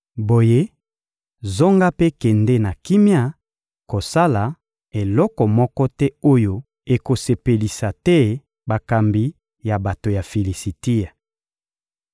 Boye, zonga mpe kende na kimia; kosala eloko moko te oyo ekosepelisa te bakambi ya bato ya Filisitia.